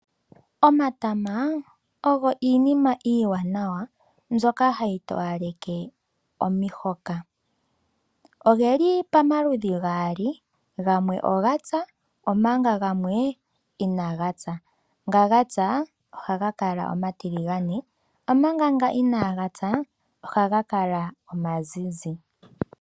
Omatama ogo iinima iiwanawa mbyoka hayi towaleke omihoka. Ogeli pamaludhi gaali gamwe ogapya omanga gamwe inagapya. Nga gapya ohaga kala omatiligane omanga nga inagapya ohaga kala omazizi.